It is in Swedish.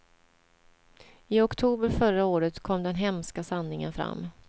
I oktober förra året kom den hemska sanningen fram.